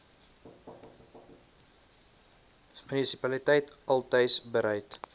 munisipaliteit altys bereid